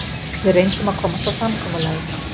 Við reyndum að komast að samkomulagi